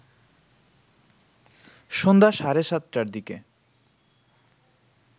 সন্ধ্যা সাড়ে সাতটার দিকে